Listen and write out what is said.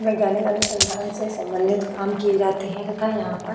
वैज्ञानिक अनुसंधान से संबंधित काम किए जाते हैं तथा यहाँ पर --